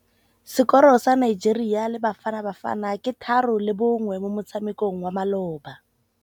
Sekôrô sa Nigeria le Bafanabafana ke 3-1 mo motshamekong wa malôba.